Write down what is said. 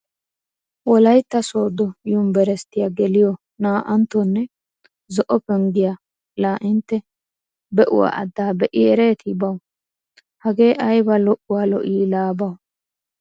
Wolaytta sooddo yunbberesttiya geliyo naa"anttonne zo'o penggiya laa intte be'uwa addaa be'i ereetii bawu! Hagee ayba lo'uwa lo'ii laa bawu!